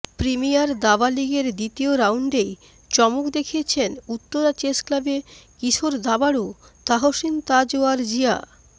premier দাবা লিগের দ্বিতীয় রাউন্ডেই চমক দেখিয়েছেন উত্তরা চেস ক্লাবে কিশোর দাবাড়ু তাহসিন তাজওয়ার জিয়া